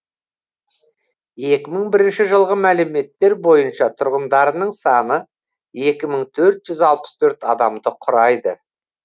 екі мың бірінші жылғы мәліметтер бойынша тұрғындарының саны екі мың төрт жүз алпыс төрт адамды құрайды